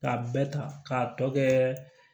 K'a bɛɛ ta k'a tɔ kɛ